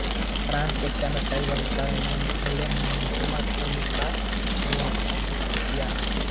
France ने चंदा साहिब का और इंग्लैंड ने मुहम्मद अली का समर्थन किया